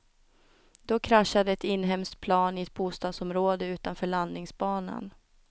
Då kraschade ett inhemskt plan i ett bostadsområde utanför landningsbanan.